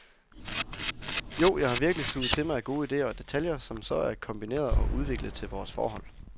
Jo, jeg har virkelig suget til mig af gode idéer og detaljer, som så er kombineret og udviklet til vores forhold.